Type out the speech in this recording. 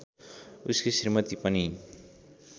उसकी श्रीमती पनि